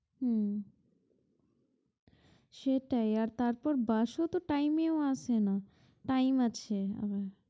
উম সেটাই আর তারপর বাস ও তো time এও আসে না time আছে ওদের।